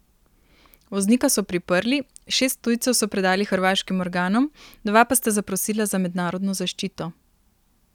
Voznika so priprli, šest tujcev so predali hrvaškim organom, dva pa sta zaprosila za mednarodno zaščito.